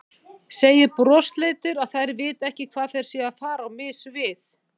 Segir brosleitur að þær viti ekki hvað þær séu að fara á mis við.